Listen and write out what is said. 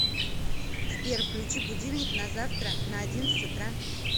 сбер включи будильник на завтра на одиннадцать утра